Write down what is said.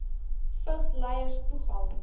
vigs lyers toegang